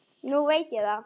Nú veit ég það.